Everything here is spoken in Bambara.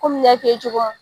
Komi n y'a f'i ye cogo mun